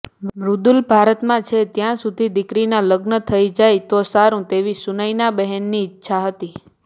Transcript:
મૃદુલ ભારતમાં છે ત્યાં સુધી દીકરીના લગ્ન થઇ જાય તો સારું તેવી સુનયનાબહેનની ઈચ્છા હતી